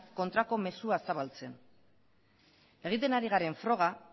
kontrako mezua zabaltzen egiten ari garen froga